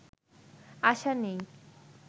আশা নেই